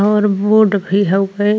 और बोर्ड भी हउए।